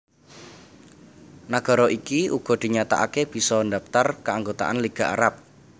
Nagara iki uga dinyatakaké bisa ndhaptar kaanggotaan Liga Arab